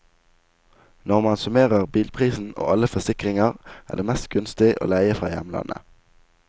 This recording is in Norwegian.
Når man summerer bilprisen og alle forsikringer er det mest gunstig å leie fra hjemlandet.